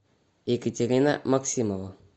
екатерина максимова